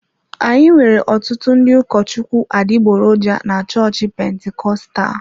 Anyị nwere ọtụtụ ndị ụkọchukwu adịgboroja na chọọchị Pentikọstal.